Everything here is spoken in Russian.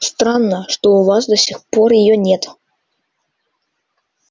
странно что у вас до сих пор её нет